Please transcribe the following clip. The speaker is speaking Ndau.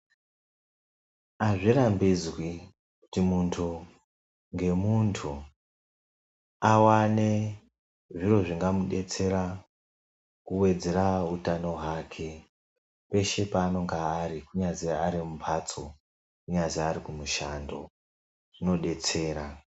Azvirambidzwi kuti muntu ngemuntu awane zviro zvingamudetsera kuwedzera utano hwake peshe paanonga ari kunyazi ari mumbatso, kunyazi ari kumushando zvinodetsera.